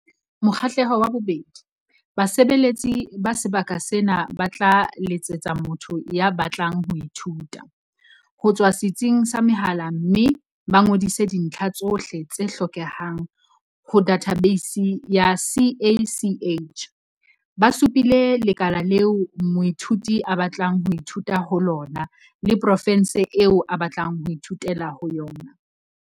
Mokgahlelo wa 2- Basebeletsi ba sebaka sena ba tla letsetsa motho ya batlang ho ithuta, ho tswa setsing sa mehala mme ba ngodise dintlha tsohle tse hlokehang ho dathabeisi ya CACH, ba supile lekala leo moithuti a batlang ho ithuta ho lona le profense eo a batlang ho ithutela ho yona.